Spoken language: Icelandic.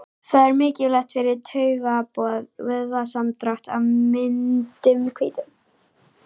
Það er mikilvægt fyrir taugaboð, vöðvasamdrátt og myndun hvítu.